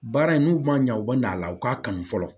Baara in n'u ma ɲa u bɛ na a la u k'a kanu fɔlɔ